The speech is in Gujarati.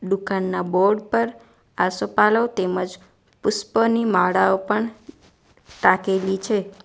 દુકાનના બોર્ડ પર આસોપાલવ તેમજ પુષ્પની માળાઓ પણ ટાંકેલી છે.